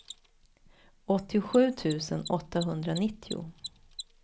åttiosju tusen åttahundranittio